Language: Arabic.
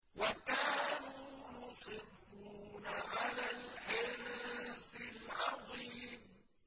وَكَانُوا يُصِرُّونَ عَلَى الْحِنثِ الْعَظِيمِ